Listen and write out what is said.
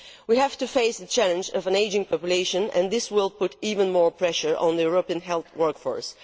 We have to face the challenge of an ageing population, and this will put even more pressure on the European health workforce.